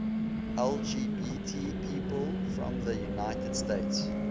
lgbt people from the united states